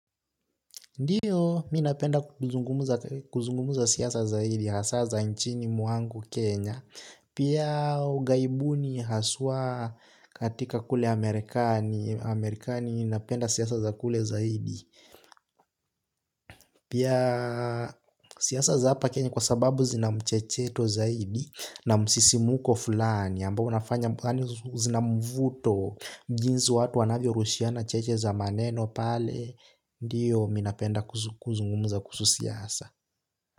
Ndiyo, minapenda kuzungumuza siyasa zaidi, hasa za nchini mwangu Kenya, pia ugaibuni haswa katika kule Amerikani, Amerikani inapenda siyasa za kule zaidi. Pia siasa za hapa kenya kwa sababu zina mchecheto zaidi na msisimuko fulani ambao unafanya yaani zina mvuto jinzi watu wanavyo rushiana cheche za maneno pale. Ndiyo minapenda kuzungumuza kusu siasa.